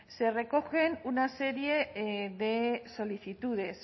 se recogen una serie de solicitudes